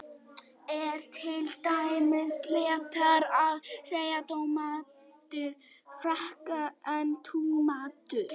er til dæmis réttara að segja tómatur frekar en túmatur